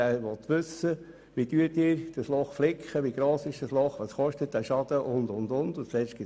Der Kanton will wissen, wie gross das Loch ist, wie wir es flicken und was der Schaden kostet und so weiter.